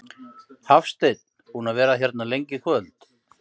Hafsteinn: Búinn að vera hérna lengi í kvöld?